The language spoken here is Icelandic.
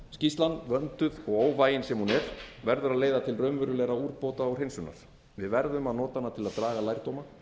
skýrslan vönduð og óvægin sem hún er verður að leiða til raunverulegra úrbóta og hreinsunar við verðum að nota hana til að draga lærdóma